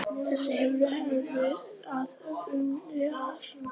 Þessi hefð er þó á undanhaldi.